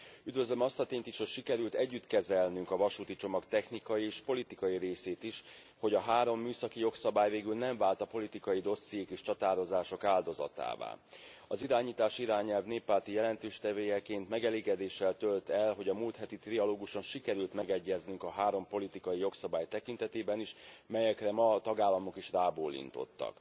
Üdvözlöm azt a tényt is, hogy sikerült együtt kezelnünk a vasúti csomag technikai és politikai részét is, hogy a három műszaki jogszabály végül nem vált a politikai dossziék és csatározások áldozatává. Az irányítási irányelv néppárti jelentéstevőjeként megelégedéssel tölt el, hogy a múlt heti trialóguson sikerült megegyeznünk a három politikai jogszabály tekintetében is, melyekre ma a tagállamok is rábólintottak.